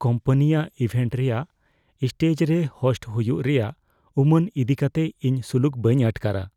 ᱠᱳᱢᱯᱟᱱᱤᱭᱟᱜ ᱤᱵᱷᱮᱱᱴ ᱨᱮᱭᱟᱜ ᱥᱴᱮᱡ ᱨᱮ ᱦᱳᱥᱴ ᱦᱩᱭᱩᱜ ᱨᱮᱭᱟᱜ ᱩᱢᱟᱹᱱ ᱤᱫᱤ ᱠᱟᱛᱮ ᱤᱧ ᱥᱩᱞᱩᱠ ᱵᱟᱹᱧ ᱟᱴᱠᱟᱨᱟ ᱾